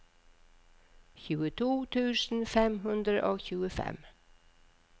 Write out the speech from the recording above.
tjueto tusen fem hundre og tjuefem